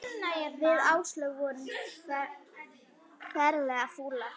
Við Áslaug vorum ferlega fúlar.